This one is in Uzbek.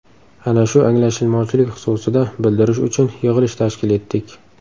Ana shu anglashilmovchilik xususida bildirish uchun yig‘ilish tashkil etdik.